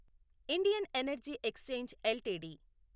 Indian energy exchange LTD